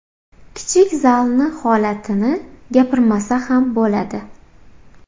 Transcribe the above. Kichik zalni holatini gapirmasa ham bo‘ladi.